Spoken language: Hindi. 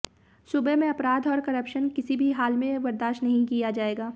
सूबे में अपराध और करप्शन किसी भी हाल में बर्दाश्त नहीं किया जाएगा